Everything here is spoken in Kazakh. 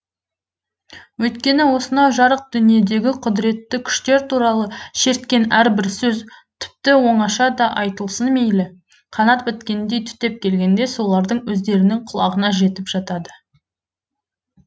өйткені осынау жарық дүниедегі құдіретті күштер туралы шерткен әрбір сөз тіпті оңашада айтылсын мейлі қанат біткендей түптеп келгенде солардың өздерінің құлағына жетіп жатады